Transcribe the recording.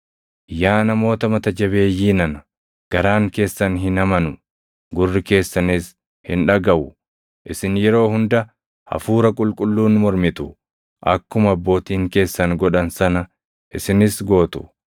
“Yaa namoota mata jabeeyyii nana! garaan keessan hin amanu; gurri keessanis hin dhagaʼu! Isin yeroo hunda Hafuura Qulqulluun mormitu; akkuma abbootiin keessan godhan sana isinis gootu.